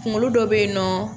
Kunkolo dɔ bɛ yen nɔ